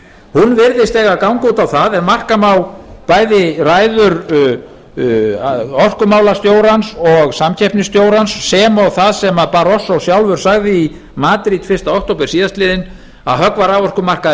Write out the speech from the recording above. hún virðist eiga að ganga út á það ef marka má bæði ræður orkumálastjórans og samkeppnisstjórans sem og það sem barroso sjálfur sagði í madrid fyrsta október síðastliðinn að höggva raforkumarkaðinn